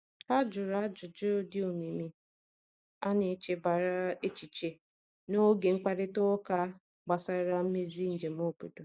Ha jụrụ ajụjụ dị omimi a n'echebara echiche n’oge mkparịta ụka gbasara mmezi njem obodo.